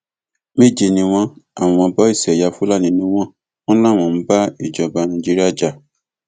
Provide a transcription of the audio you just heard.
méje ni wọn àwọn bọìsì ẹyà fúlàní ni wọn wọn láwọn ń bá ìjọba nàìjíríà jà